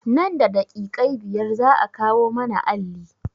Nan da daƙiƙai biyar za a kawo mana alli